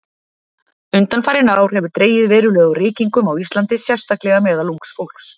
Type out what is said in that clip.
Undanfarin ár hefur dregið verulega úr reykingum á Íslandi, sérstaklega meðal ungs fólks.